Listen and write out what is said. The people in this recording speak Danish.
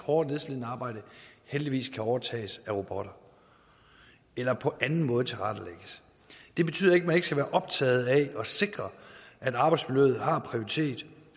og nedslidende arbejde heldigvis kan overtages af robotter eller på anden måde tilrettelægges det betyder ikke at man ikke skal være optaget af at sikre at arbejdsmiljøet har prioritet